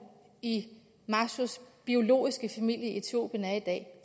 i mashos biologiske familie i etiopien er i dag